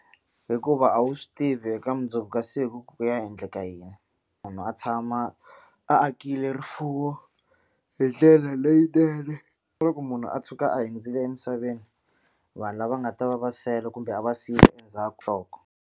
Hikuva a wu swi tivi eka mundzuku ka siku ku ku ya endleka yini munhu a tshama a akile rifuwo hi ndlela leyinene na loko munhu a tshuka a hundzile emisaveni vanhu lava nga ta va va sele kumbe a va siyile endzhaku .